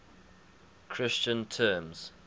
christian terms